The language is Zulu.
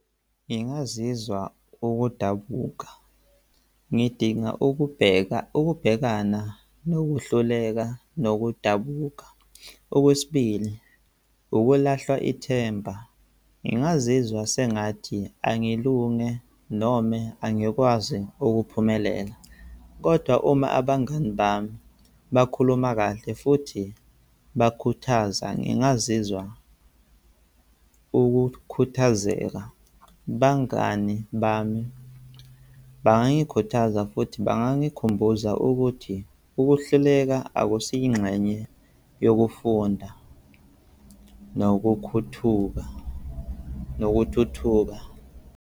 Ngingazizwa ukudabuka ngidinga ukubheka, ukubhekana nokuhluleka nokudabuka. Okwesibili, ukulahlwa ithemba. Ngingazizwa sengathi angilunge noma angikwazi ukuphumelela. Kodwa uma abangani bami bakhuluma kahle futhi bakhuthaza, ngingazizwa ukukhuthazeka. Bangani bami bangangikhuthaza futhi bangangikhumbuza ukuthi ukuhluleka akusiyo ingxenye yokufunda nokukhuthuka, nokuthuthuka.